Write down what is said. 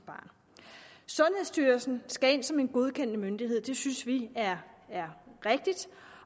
barn sundhedsstyrelsen skal ind som en godkendende myndighed det synes vi er er rigtigt